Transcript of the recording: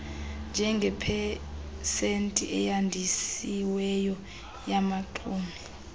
njengepesenti eyandisiweyo yabaxumi